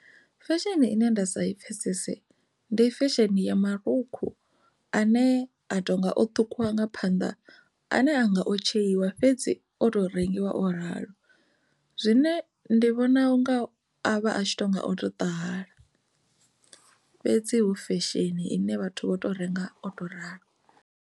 Fesheni ine nda sa i pfhesese ndi fesheni ya marukhu ine a tonga o ṱhukhuliwa nga phanḓa ane anga o tsheiwa fhedzi o to rengiwa o ralo zwine ndi vhona unga a vha a tshi tonga oto ṱahala fhedzi hu fesheni ine vhathu vho to renga o tou ralo.